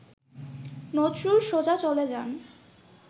নজরুল সোজা চলে যান